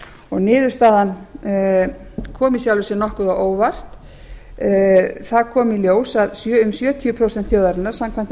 refsiverð niðurstaðan kom í sjálfu sér nokkuð á óvart það kom í dóms að um sjötíu prósent þjóðarinnar samkvæmt